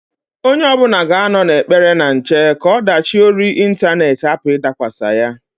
Onye ọbụna ga-anọ n'ekpere na nche ka ọdachị ori intanet hapụ ịdakwasa ya.